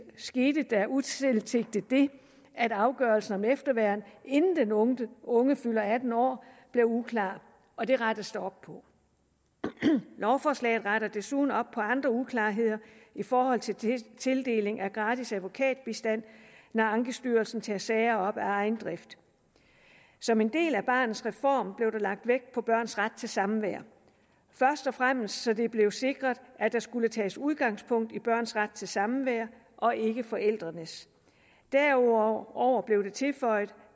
skete der utilsigtet det at afgørelsen om efterværn inden den unge unge fylder atten år blev uklar og det rettes der op på lovforslaget retter desuden op på andre uklarheder i forhold til tildeling af gratis advokatbistand når ankestyrelsen tager sager op af egen drift som en del af barnets reform blev lagt vægt på børns ret til samvær først og fremmest så det blev sikret at der skulle tages udgangspunkt i børns ret til samvær og ikke forældrenes derudover blev det tilføjet